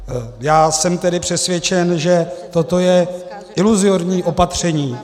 Já jsem tedy přesvědčen, že toto je iluzorní opatření.